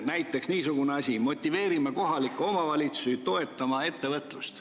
Näiteks niisugune lause: "Motiveerime kohalikke omavalitsusi toetama ettevõtlust.